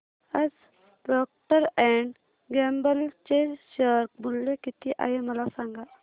आज Procter and Gamble चे share मूल्य किती आहे मला सांगा